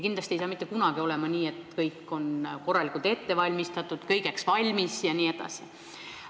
Kindlasti ei saa mitte kunagi olema nii, et kõik on korralikult ette valmistatud, me oleme kõigeks valmis jne.